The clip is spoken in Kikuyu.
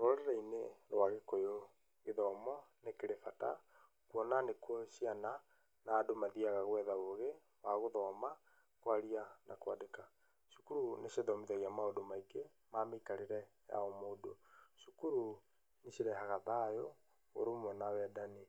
Rũrĩrĩ-inĩ rwa gĩkũyũ gĩthomo nĩkĩrĩ bata, kuona nĩkuo ciana na andũ mathyiaga gwetha ũgĩ wa gũthoma, kwaria, na ,kwandĩka, cukuru nĩ cithomithagia maũndũ maingĩ ma mĩikarĩre ya o mũndũ, cukuru nĩ cirehaga thayũ, ũrũmwe na wendani,